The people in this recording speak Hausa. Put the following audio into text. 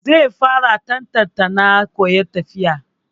Zai fara Ta-ta-ta na koyan tafiya.